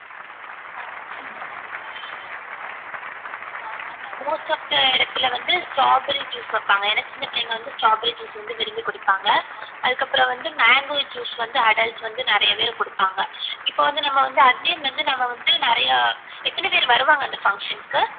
most of the இடத்துல வந்து straw berry juice வப்பாங்க ஏனா சின்ன பிள்ளைங்க வந்து straw berry juice வந்து விரும்பி குடிப்பாங்க அதுக்கு அப்புறம் வந்து mango juice வந்து adult வந்து நிறைய பேர் குடுப்பாங்க இப்போ வந்து நம்ம வந்து again வந்து நிறையா எத்தன பேரு வருவாங்க அந்த function க்கு